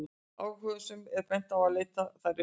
Áhugasömum er bent á að leita þær uppi.